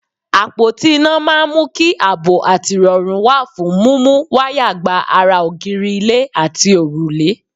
Àpóti iná máa ń mú kí àbọ̀ àti ìrọ̀rù wà fún múmú wáyà gba ara ògiri, ilẹ̀, àti òrùlé.